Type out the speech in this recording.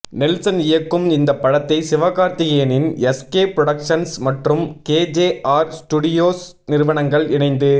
Nelson இயக்கும் இந்த படத்தை சிவகார்த்திகேயனின் எஸ்கே புரடொக்சன்ஸ் மற்றும் கேஜேஆர் ஸ்டுடியோஸ் நிறுவனங்கள் இணைந்து